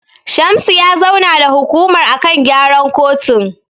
Shamsu ya zauna da hukumar a kan gyaran kotun.